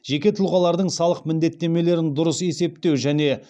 жеке тұлғалардың салық міндеттемелерін дұрыс есептеу және